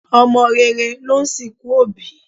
Ọmọ rere ló ń sìnkú òbí